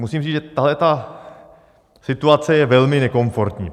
Musím říct, že tahle situace je velmi nekonformní.